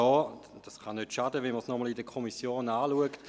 Es kann nicht schaden, wenn die Kommission dies nochmals anschaut.